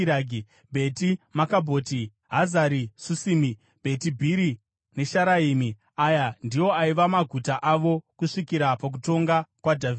Bheti Makabhoti, Hazari Susimi, Bheti Bhiri neSharaimi. Aya ndiwo aiva maguta avo kusvikira pakutonga kwaDhavhidhi.